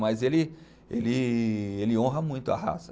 Mas ele, ele, ele honra muito a raça.